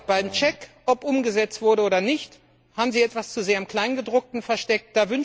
Beim Check, ob umgesetzt wurde oder nicht, haben Sie sich etwas zu sehr im Kleingedruckten versteckt.